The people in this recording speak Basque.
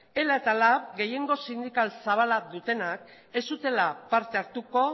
ela eta lab gehiengo sindikal zabala dutenak ez zutela parte hartuko